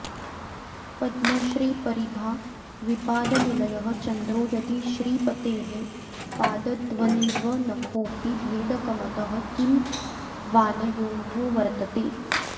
पद्मश्रीपरिभाविपादनिलयः चन्द्रो यदि श्रीपतेः पादद्वन्द्वनखोऽपि भेदकमतः किं वानयोर्वर्तते